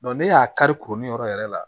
ne y'a kari kurun yɔrɔ yɛrɛ la